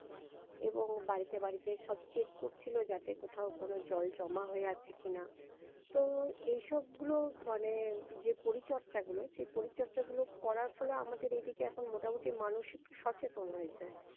এবং বাড়িতে বাড়িতে সব check করছিলো যাতে কোথাও কোনো জল জমা হয়ে আছে কি না, তো এই সবগুলো মানে যে পরিচর্চা গুলো সেই পরিচর্চা গুলো করার ফলে আমাদের এদিকে এখন মোটামুটি মানুষ একটু সচেতন হয়েছে